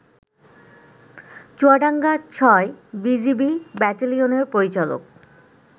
চুয়াডাঙ্গা-৬ BGB ব্যাটালিয়নের পরিচালক